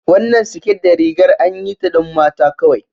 Wannan siket da rigar anyi ta don mata kawai